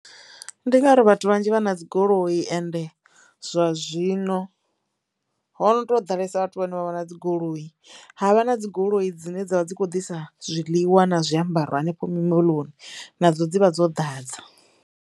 Ndi ngauri vhathu vhanzhi vha na dzigoloi ende zwa zwino ho no tou ḓalesa vhathu vhane vha vha na dzigoloi ha vha na dzigoloi dzine dzavha dzi kho ḓisa zwiḽiwa na zwiambaro hanefho mimoḽoni na dzo dzivha dzo ḓadza.